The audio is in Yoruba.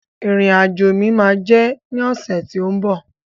Ìrìn àjò mi ma jẹ ní ọsẹ ti o mbọ.